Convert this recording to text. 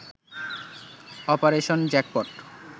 operation jackpot